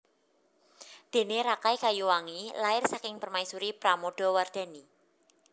Dene Rakai Kayuwangi lair saking permaisuri Pramodawardhani